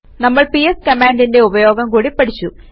നമ്മൾ പിഎസ് കമാൻഡിന്റെ ഉപയോഗം കൂടി പഠിച്ചു